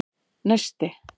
Neisti